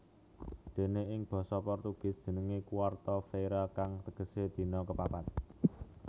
Déné ing basa Portugis jenengé quarta feira kang tegesé dina kapapat